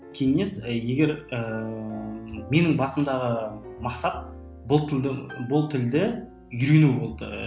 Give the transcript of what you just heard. кеңес і егер ііі менің басымдағы мақсат бұл тілді бұл тілді үйрену болды